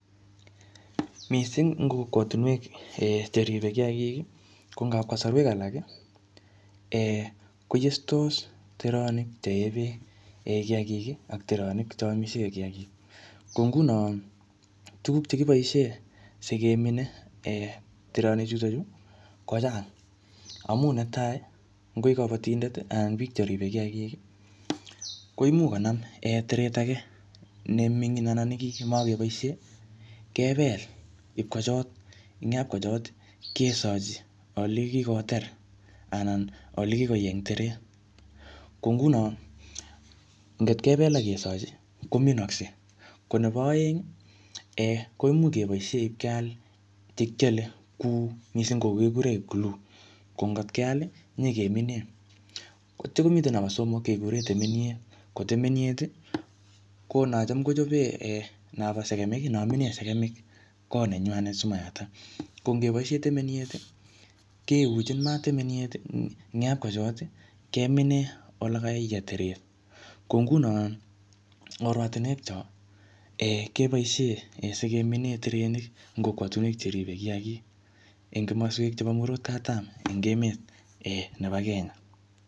Missing ing kokwtunwek um cheribe kiyagik, ko ngap ing kasarwek alak um koyestos teronik chee bek kiyagik ak teronik che amisie kiyagik. Ko nguno tuguk che kiboisie sikemine um teronik chotuchu, kochang. Amu netai, ngoi kabatindet anan biik cheribe kiyagik, koimuch konam um teret age ne mingin anan ne makeboisie, kebel ipkochot. Eng yapkochot, kesochi ole kikoter anan ole kikoyei eng teret. Ko nguno, ngot kebel akesochi, kominakse. Ko nebo aeng um koimuch keboisie ipkeal che kiale kuu missing ko kikure glue. Ko ngotkeal, nyikemine. Atya komitei nobo somok kekure temeniet. Ko temeniet, ko nacham kochope um nobo sekemik, namine sekemik kot nenywanet simayatak. Ko ngeboisie temeniet, keuchin maat temeniet. Eng yapkochot, keminee ole kayei teret. Ko nguno, eng oratunwek chok um, keboisie sikemine terenik eng kokwatunwek cheripe kiyagik eng kimaswek chebo murot katam eng emet um nebo Kenya.